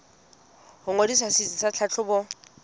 ho ngodisa setsi sa tlhahlobo